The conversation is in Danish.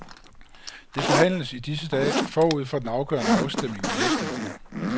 Det forhandles i disse dage forud for den afgørende afstemning i næste uge.